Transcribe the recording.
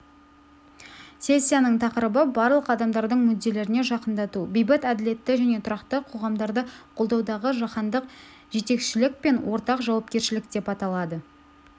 сессияның тақырыбы барлық адамдардың мүдделеріне жақындату бейбіт әділетті және тұрақты қоғамдарды қолдаудағы жаһандық жетекшілік пен ортақ жауапкершілік деп аталады